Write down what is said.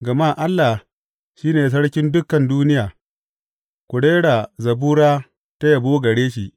Gama Allah shi ne Sarkin dukan duniya; ku rera zabura ta yabo gare shi.